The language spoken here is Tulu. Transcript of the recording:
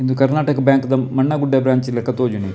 ಉಂದು ಕರ್ನಾಟಕ ಬ್ಯಾಂಕ್ ದ ಮಣ್ನಗುಡ್ದ ಬ್ರ್ಯಾಂಚ್ ಲೆಕ ತೋಜುಂಡು ಎಂಕ್.